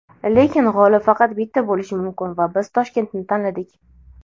Lekin g‘olib faqat bitta bo‘lishi mumkin va biz Toshkentni tanladik.